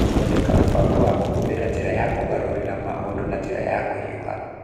Gũthondeka mũbango wa kũhuthĩra njĩra ya kũgarũrĩra maũndũ na njĩra ya kũhiũha